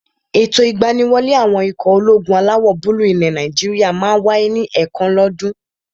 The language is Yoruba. Ètò ìgbaniwọlé àwọn ikọ̀ ológun alawọ̀-búúlù ilẹ̀ Nàìjíríyà máa n wáyé ní ẹ̀ẹ̀kan lọ́ dún.